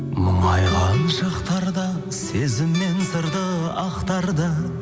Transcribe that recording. мұңайған шақтарда сезім мен сырды ақтарды